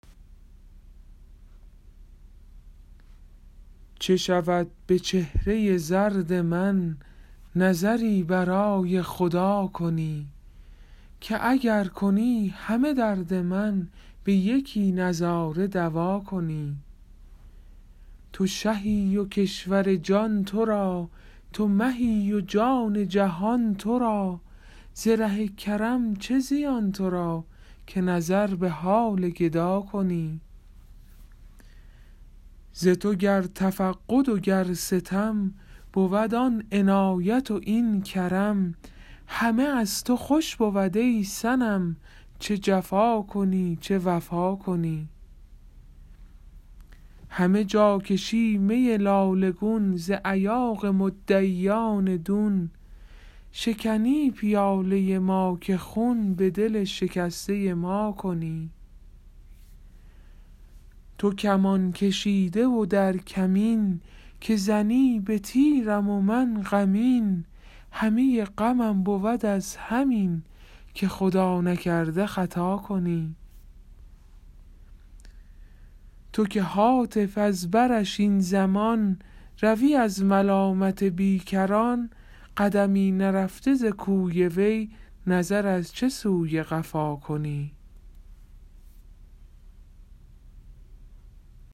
چه شود به چهره زرد من نظری برای خدا کنی که اگر کنی همه درد من به یکی نظاره دوا کنی تو شهی و کشور جان تو را تو مهی و جان جهان تو را ز ره کرم چه زیان تو را که نظر به حال گدا کنی ز تو گر تفقد و گر ستم بود آن عنایت و این کرم همه از تو خوش بود ای صنم چه جفا کنی چه وفا کنی همه جا کشی می لاله گون ز ایاغ مدعیان دون شکنی پیاله ما که خون به دل شکسته ما کنی تو کمان کشیده و در کمین که زنی به تیرم و من غمین همه غمم بود از همین که خدا نکرده خطا کنی تو که هاتف از برش این زمان روی از ملامت بیکران قدمی نرفته ز کوی وی نظر از چه سوی قفا کنی